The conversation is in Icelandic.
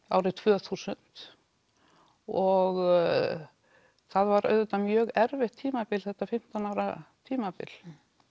árið tvö þúsund og það var auðvitað mjög erfitt tímabil þetta fimmtán ára tímabil